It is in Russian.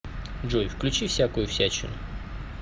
джой включи всякую всячину